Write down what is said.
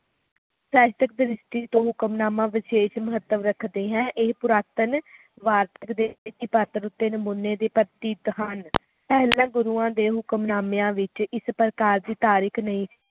ਸਾਹਿਤਿਕ ਦ੍ਰਿਸ਼ਟੀ ਤੋਂ ਹੁਕਮਨਾਮਾ ਵਿਸ਼ੇਸ਼ ਮਹੱਤਵ ਰੱਖਦੇ ਹੈ ਇਹ ਪੁਰਾਤਨ ਰਤਾਕ ਦੇ ਪਾਤਰ ਉੱਤੇ ਨਮੂਨੇ ਦੇ ਪ੍ਰਤੀਕ ਹਨ ਪਹਿਲਾਂ ਗੁਰੂਆਂ ਦੇ ਹੁਕਮਨਾਮਿਆਂ ਵਿਚ ਇਸ ਪ੍ਰਕਾਰ ਦੀ ਤਾਰੀਖ ਨਹੀਂ ਸੀ